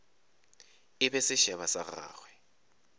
e be sešeba sa gagwe